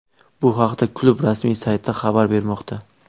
Bu haqda klub rasmiy sayti xabar bermoqda .